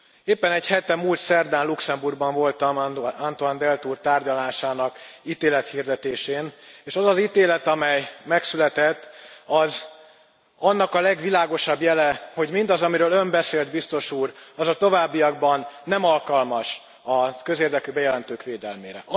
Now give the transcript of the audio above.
Éppen egy hete, múlt szerdán Luxembourgban voltam Antoine Deltour tárgyalásának ítélethirdetésén, és az az ítélet, amely megszületett, az annak a legvilágosabb jele, hogy mindaz, amiről Ön beszélt Biztos Úr, az a továbbiakban nem alkalmas a közérdekű bejelentők védelmére.